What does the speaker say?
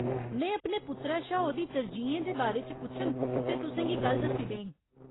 में अपने पुत्तरै शा ओह्दी तरजीहें दे बारे च पुच्छङ ते तुसें गी कल दस्सी देङ।